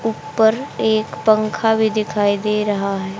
ऊपर एक पंखा भी दिखाई दे रहा है।